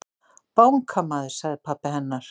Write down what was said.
Bankamaður, sagði pabbi hennar.